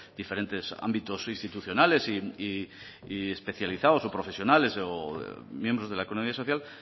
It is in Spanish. diferentes ámbitos institucionales y especializados o profesionales o miembros de la economía social